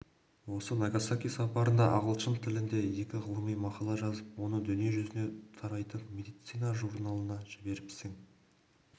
осы нагасаки сапарында ағылшын тілінде екі ғылыми мақала жазып оны дүние жүзіне тарайтын медицина журналына жіберіпсің